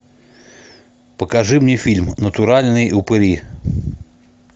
покажи мне фильм натуральные упыри